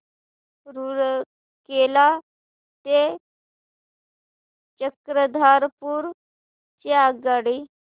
रूरकेला ते चक्रधरपुर ची आगगाडी